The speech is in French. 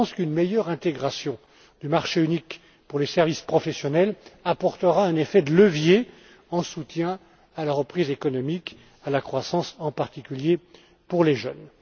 Je pense qu'une meilleure intégration du marché unique pour les services professionnels apportera un effet de levier en soutien à la reprise économique et à la croissance, en particulier pour les jeunes.